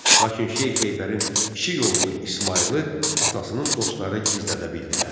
Lakin Şeyx Heydərin kiçik oğlu İsmayılı atasının dostları gizlədə bildilər.